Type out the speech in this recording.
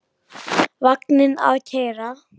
Vagninn að keyra.